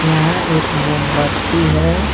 यहाँ एक मोमबत्ती है।